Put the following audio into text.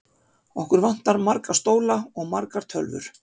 Okkur vantar marga stóla og margar tölvur.